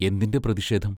എന്തിന്റെ പ്രതിഷേധം?